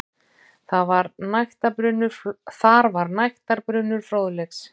Þar var nægtabrunnur fróðleiks.